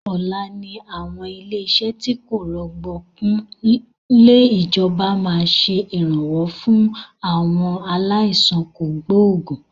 Ọ̀la ni àwọn ilé iṣẹ́ tí kò rọ̀gbọ̀kú lè ìjọba máa ṣe Ìrànwọ́ fún àwọn aláìsàn kògbógùn